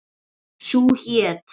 Sú hét